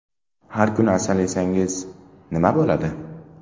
Har kuni asal yesangiz, nima bo‘ladi?.